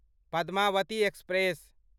Padmavati express